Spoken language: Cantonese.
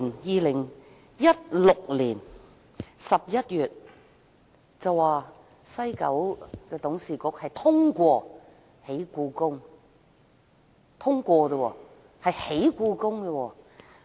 2016年11月，政府表示西九文化區管理局董事局通過興建故宮館。